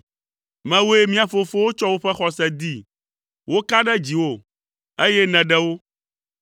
Mewòe mía fofowo tsɔ woƒe xɔse dee, woka ɖe dziwò, eye nèɖe wo.